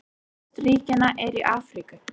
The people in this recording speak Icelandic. Flest ríkjanna eru í Afríku.